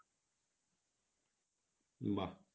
বাহ